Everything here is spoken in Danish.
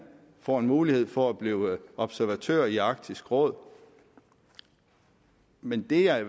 får en mulighed for at blive observatør i arktisk råd men det jeg